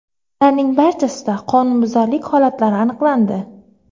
Ularning barchasida qonunbuzarlik holatlari aniqlandi.